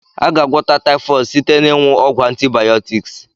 A ga- agwọta typhooid site na ịnwu ọgwu antibiotics.